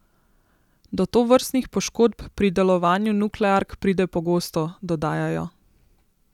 Do tovrstnih poškodb pri delovanju nukleark pride pogosto, dodajajo.